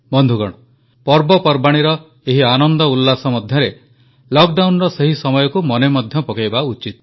ବନ୍ଧୁଗଣ ପର୍ବପର୍ବାଣୀର ଏହି ଆନନ୍ଦ ଉଲ୍ଲାସ ମଧ୍ୟରେ ଲକଡାଉନର ସେହି ସମୟକୁ ମଧ୍ୟ ମନେ ପକାଇବା ଉଚିତ